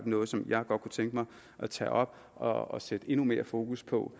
noget som jeg godt kunne tænke mig at tage op og og sætte endnu mere fokus på